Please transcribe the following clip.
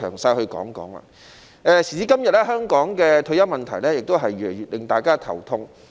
時至今日，香港的退休問題越來越令大家頭痛。